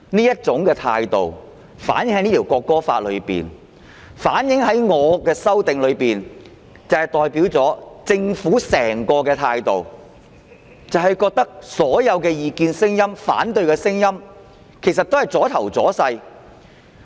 這種態度反映在《條例草案》內，亦反映在我的修正案內，政府的整個態度就是覺得所有異見和反對聲音也是"阻頭阻勢"。